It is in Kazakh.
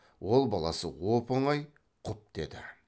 ол баласы оп оңай құп деді